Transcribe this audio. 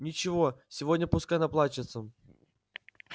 ничего сегодня пускай наплачется